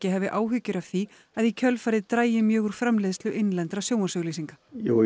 hafi áhyggjur af því að í kjölfarið dragi mjög úr framleiðslu innlendra sjónvarpsauglýsinga